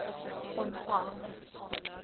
ontvang